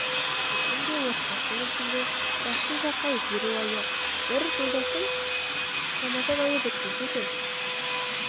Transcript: үшін де отбасым үшін де жақсы жаққа өзгеру айы бір жолдасым рамазан айы бітпесе екен